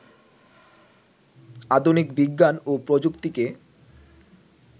আধুনিক বিজ্ঞান ও প্রযুক্তিকে